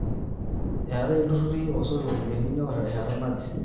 eetai ilturruri oosoti iropiyiani neorri terrishata naje